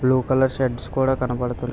blue colour shirts కూడా కనబడుతున్న--